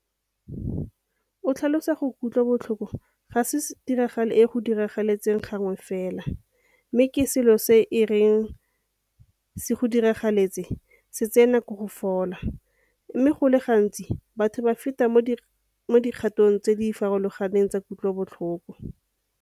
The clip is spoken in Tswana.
O tlhalosa gore kutlobotlhoko ga se tiragalo e e go diragalelang gangwe fela mme ke selo se e reng se go diragaletse se tsee nako go fola, mme go le gantsi batho ba feta mo dikgatong tse di farologaneng tsa kutlobotlhoko.